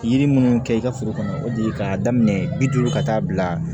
Yiri minnu kɛ i ka foro kɔnɔ o de ye k'a daminɛ bi duuru ka taa bila